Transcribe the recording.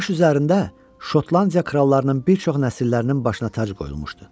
Bu daş üzərində Şotlandiya krallarının bir çox nəsillərinin başına tac qoyulmuşdu.